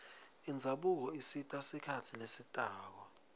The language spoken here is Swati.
indzabuko isita sikhatsi lesitako